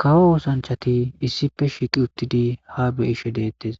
Kawo oosanchati issipe shiiqi uttidi ha beyishe deettes